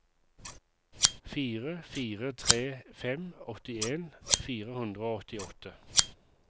fire fire tre fem åttien fire hundre og åttiåtte